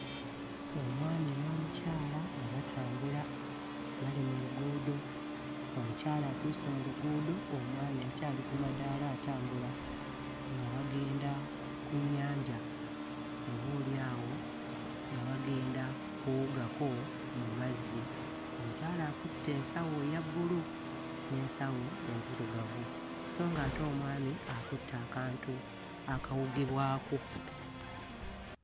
Omwami n'omukyala nga batambula bali mu luguudo. Omukyala atuuse mu luguudo, omwami akyali ku madaala atambula nga bagenda ku nnyanja, oboolyawp nga bagenda kuwugako mu mazzi. Omukyala akutte ensawo eya bbulu n'ensawo enzirugavu so ng'ate omwami akutte akantu akawugibwako.